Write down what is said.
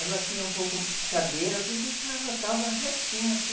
Ela tinha um pouco cadeira, tudo então ela estava retinha.